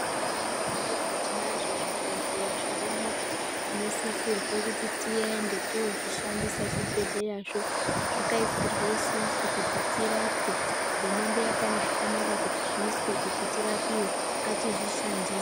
Mundaraunda mwedumwo tinazvo zvibhedhlera zvirimwo tinosisirwe kuti tiende tozvishandisa zvibhedhlerazvo zvakaisirwa isusu kuti tirapwe hurumende yakaona zvakanaka kuti zviiswe kuti tirapiwe ngatizvishandise.